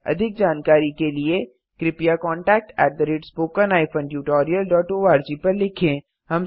अधिक जानकारी के लिए कृपया contactspoken tutorialorg पर लिखें